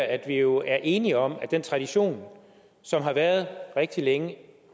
at vi jo er enige om at den tradition som har været der rigtig længe